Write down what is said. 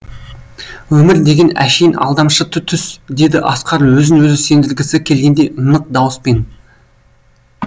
өмір деген әшейін алдамшы түс деді асқар өзін өзі сендіргісі келгендей нық дауыспен